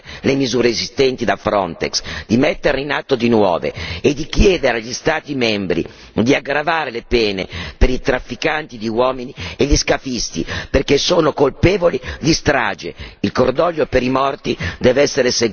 Chiediamo al Consiglio di rafforzare le misure esistenti da Frontex, di metterne in atto di nuove e di chiedere agli Stati membri di aggravare le pene per i trafficanti di uomini e gli scafisti perché sono colpevoli di strage.